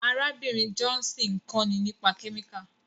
Arábìnrin Johnson ń kọ́ni nípa kẹ́míkà.